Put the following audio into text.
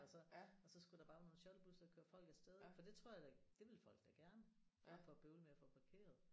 Og så og så skulle der bare være nogle shuttlebuser der kørte folk afsted ik for det tror jeg da det vil folk da gerne i stedet for at bøvle med at få parkeret